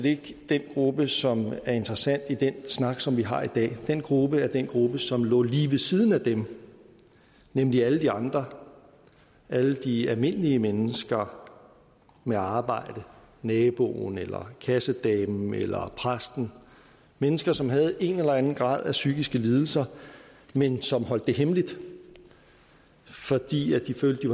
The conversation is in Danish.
ikke den gruppe som er interessant i den snak som vi har i dag den gruppe er den gruppe som lå lige ved siden af dem nemlig alle de andre alle de almindelige mennesker med arbejde naboen eller kassedamen eller præsten mennesker som havde en eller anden grad af psykiske lidelser men som holdt det hemmeligt fordi de følte at